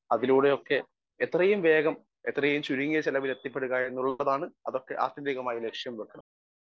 Speaker 1 അതിലൂടെയൊക്കെ എത്രയും വേഗം എത്രയും ചുരുങ്ങിയ ചെലവിലെത്തിപ്പെടുക എന്നുള്ളതാണ് അതൊക്കെ ആത്യന്തികമായ ലക്ഷ്യം വെക്കൽ .